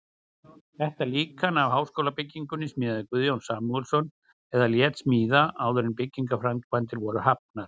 Þetta líkan af háskólabyggingunni smíðaði Guðjón Samúelsson eða lét smíða, áður en byggingarframkvæmdir voru hafnar.